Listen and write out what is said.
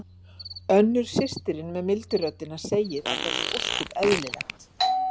Önnur systirin með mildu röddina segir að það sé ósköp eðlilegt.